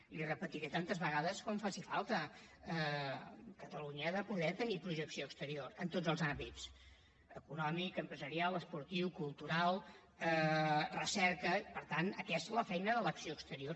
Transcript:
l’hi repetiré tantes vegades com faci falta catalunya ha de poder tenir projecció exterior en tots els àmbits econòmic empresarial esportiu cultural recerca i per tant aquesta és la feina de l’acció exterior